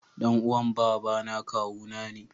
Dan uwan Baba na kawuna ne.